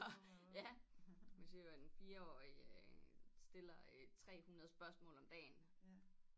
Ja hvis det var en 4 årig stiller øh 300 spørgsmål om dagen